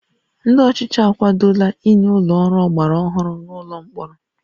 Ndị ọchịchị akwadola inye ụlọ ọrụ ọgbara ọhụrụ n'ụlọ mkpọrọ